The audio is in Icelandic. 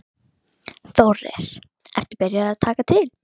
Þórir: Ertu byrjaður að taka til?